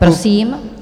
Prosím.